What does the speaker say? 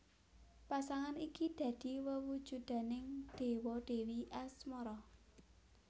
Pasangan iki dadi wewujudaning dewa dèwi asmara